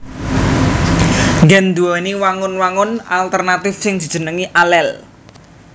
Gen nduwèni wangun wangun alternatif sing dijenengi alel